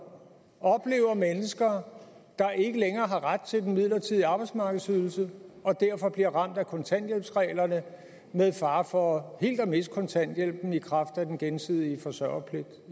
oplever mennesker der ikke længere har ret til den midlertidige arbejdsmarkedsydelse og derfor bliver ramt af kontanthjælpsreglerne med fare for helt at miste kontanthjælpen i kraft af den gensidige forsørgerpligt